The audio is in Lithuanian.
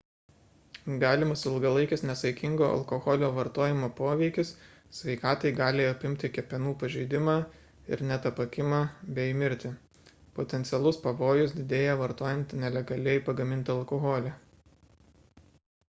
galimas ilgalaikis nesaikingo alkoholio vartojimo poveikis sveikatai gali apimti kepenų pažeidimą ir net apakimą bei mirtį potencialus pavojus didėja vartojant nelegaliai pagamintą alkoholį